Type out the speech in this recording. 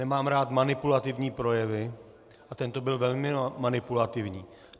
Nemám rád manipulativní projevy a tento byl velmi manipulativní.